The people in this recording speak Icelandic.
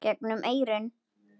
gegnum eyrun.